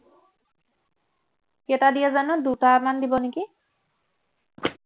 কেইটা দিয়ে জানো দুটামান দিব নেকি